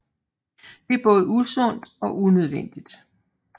Det er både usundt og unødvendigt